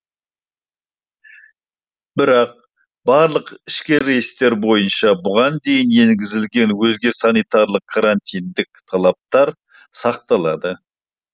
бірақ барлық ішкі рейстер бойынша бұған дейін енгізілген өзге санитарлық карантиндік талаптар сақталады